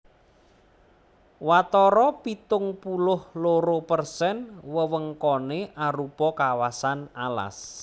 Watara pitung puluh loro persen wewengkoné arupa kawasan alas